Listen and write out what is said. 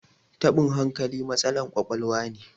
tabin hankali matsalan kwakwaluwa ne